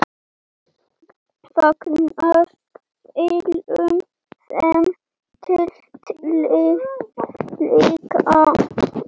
Fagnar Willum þeim titli líka?